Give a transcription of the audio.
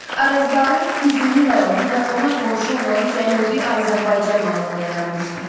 Arazbarı Füzuli rayonu və ona qonşu olan Cənubi Azərbaycan mahalında yaranmışdır.